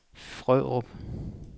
Frørup